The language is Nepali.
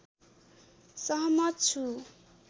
सहमत छु